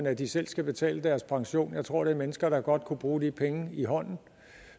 at de selv skal betale deres pension jeg tror det er mennesker der godt kunne bruge de penge i hånden